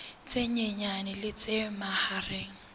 tse nyenyane le tse mahareng